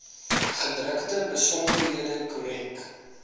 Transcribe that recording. gedrukte besonderhede korrek